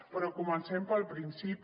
però comencem pel principi